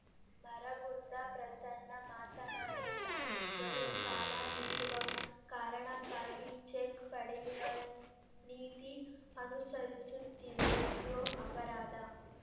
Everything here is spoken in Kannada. ಮರಗುಂದ ಪ್ರಸನ್ನ ಮಾತನಾಡಿ ಬ್ಯಾಂಕ್‌ಗಳು ಸಾಲ ನೀಡುವ ಕಾರಣಕ್ಕಾಗಿ ಚೆಕ್‌ ಪಡೆಯುವ ನೀತಿ ಅನುಸರಿಸುತ್ತಿವೆ ಇದು ಅಪರಾಧ